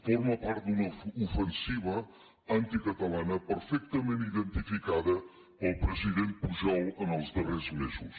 forma part d’una ofensiva anticatalana perfectament identificada pel president pujol en els darrers mesos